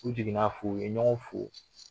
U jigin na f'u ye ɲɔgɔn fo.